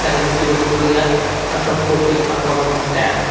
కనిపించదు ఫుల్ గా అసంపూర్తిగా కనపడుతుంది ట్యాంక్ .